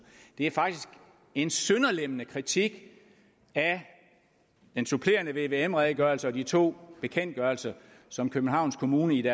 det er faktisk en sønderlemmende kritik af den supplerende vvm redegørelse og de to bekendtgørelser som københavns kommune i